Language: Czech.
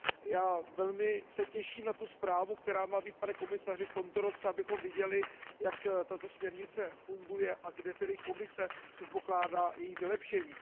Já se velmi těším na tu zprávu, která má být, pane komisaři, v tomto roce, abychom viděli, jak tato směrnice funguje a kde tedy Komise předpokládá její vylepšení.